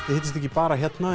hittist ekki bara hérna